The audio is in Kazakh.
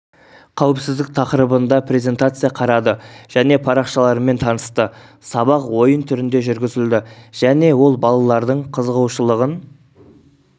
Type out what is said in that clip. қауіпсіздік тақырыбында презентация қарады және парақшалармен танысты сабақ ойын түрінде жүргізілді және ол балалардың қызығушылығын